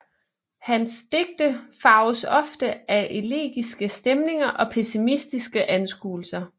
Hans digte farves ofte af elegiske stemninger og pessimistiske anskuelser